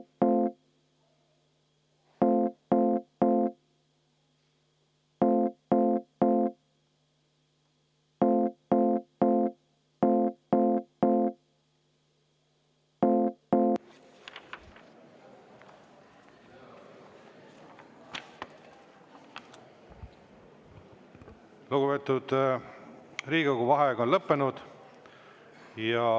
Lugupeetud Riigikogu, vaheaeg on lõppenud.